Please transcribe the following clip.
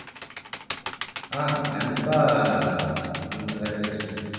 அஹ் கண்டிப்பா கஜலட்சுமி